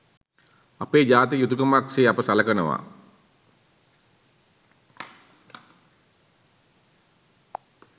අපේ ජාතික යුතුකමක් සේ අප සලකනවා